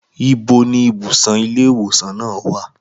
Ibo ni ibùsùn ilé ìwòsàn náà wà?